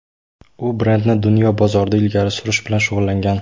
U brendni dunyo bozorida ilgari surish bilan shug‘ullangan.